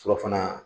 Surafana